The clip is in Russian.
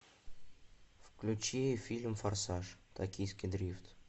включи фильм форсаж токийский дрифт